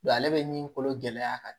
ale bɛ ɲi kolo gɛlɛya ka